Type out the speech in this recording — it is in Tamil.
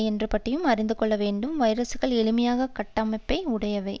என்பது பற்றியும் அறிந்து கொள்ள வேண்டும் வைரசுக்கள் எளிமையான கட்டமைப்பை உடையவை